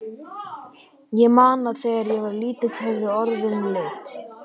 Ég man að þegar ég var lítill höfðu orðin lit.